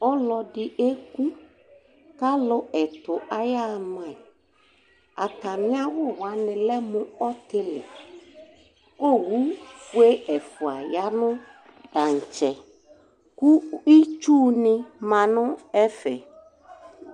Ɔlɔdɩ eku kʋ alʋ ɛtʋ yaɣa ama yɩ Atamɩ awʋ wanɩ lɛ mʋ ɔtɩlɩ kʋ owufue ɛfʋa ya nʋ tantsɛ kʋ itsunɩ ma nʋ ɛfɛ